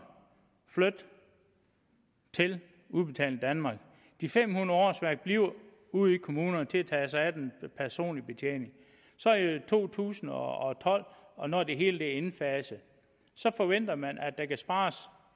flyttet til udbetaling danmark de fem hundrede årsværk bliver ude i kommunerne til at tage sig af den personlige betjening i to tusind og tolv og når det hele er indfaset forventer man at der kan spares